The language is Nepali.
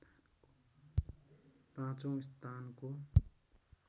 पाँचौं स्थानको